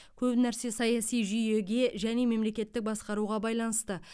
көп нәрсе саяси жүйеге және мемлекеттік басқаруға байланысты